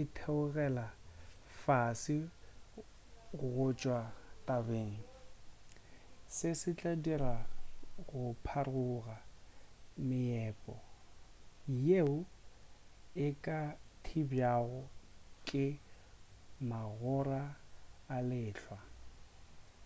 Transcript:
e theogela fase go tšwa tabeng se se tla dira go pharoga meepo yeo e ka thibjwago ke magora a lehlwa